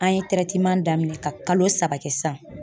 An ye daminɛ ka kalo saba kɛ sisan.